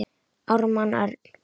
Ármann Örn.